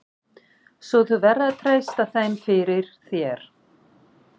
Svo þú verður að treysta þeim fyrir. þér.